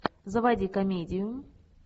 заводи комедию